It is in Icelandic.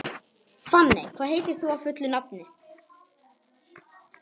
Fanney, hvað heitir þú fullu nafni?